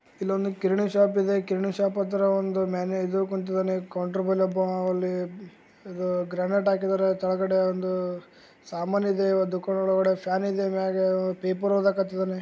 ಇಲ್ಲೊಂದು ಕಿರಣಿ ಶಾಪ್ ಇದೆ ಶಾಪ ಹತ್ರ ಕೌಂಟರ್ ಬಲ್ಲಿ ಒಬ್ಬಾವ್ ಅಲ್ಲಿ ಗ್ರಾನೈಟ್ ಹಾಕಿದರೆ ಕೆಳಗಡೆ ಒಂದು ಸಾಮಾನ ಇದೆ ಫ್ಯಾನ್ ಇದೆ ಪೇಪರ್ ಓದಕತರ.